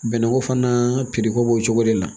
Bɛnɛ ko fana ko b'o cogo de la